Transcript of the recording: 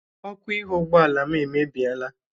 Ọkụ ihu ụgbọala m emebieela.